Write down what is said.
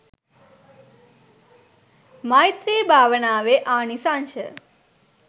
මෛත්‍රී භාවනාවේ ආනිසංශ